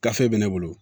Gafe bɛ ne bolo